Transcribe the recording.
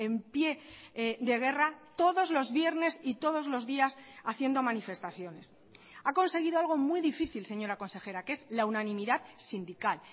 en pie de guerra todos los viernes y todos los días haciendo manifestaciones ha conseguido algo muy difícil señora consejera que es la unanimidad sindical